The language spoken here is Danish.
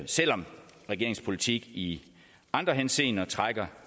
selv om regeringens politik i andre henseender trækker